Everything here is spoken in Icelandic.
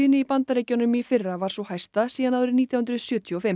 í Bandaríkjunum í fyrra var sú hæsta síðan nítján hundruð sjötíu og fimm